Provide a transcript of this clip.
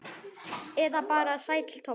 Eða bara Sæll Tobbi?